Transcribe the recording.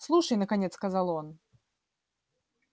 слушай наконец сказал он